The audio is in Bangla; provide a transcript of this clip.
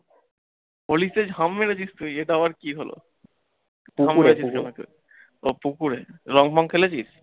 holi তে ঝাপ মেরেছিস তুই? এটা আবার কি হল? ও পুকুরে, রঙ ফং খেলেছিস?